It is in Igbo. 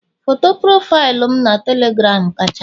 Foto profaịlụ m na telegram kacha mma